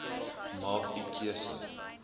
maak u keuse